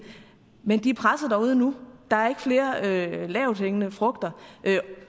men de er presset derude nu der er ikke flere lavthængende frugter